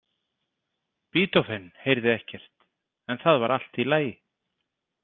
Beethoven heyrði ekkert, en það var allt í lagi.